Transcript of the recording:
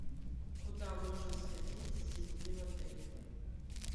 куда можно сходить с детьми в отеле